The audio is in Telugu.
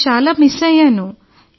నేను చాలా మిస్ అయ్యాను